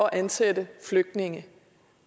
ansætte flygtninge